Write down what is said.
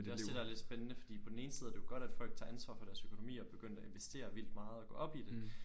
Det også det der er lidt spændende fordi på den ene side er det jo godt at folk tager ansvar for deres økonomi og er begyndt at investere vildt meget og gå op i det